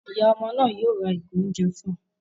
Ìyá ọmọ náà yóò rá ìgò oúnjẹ fún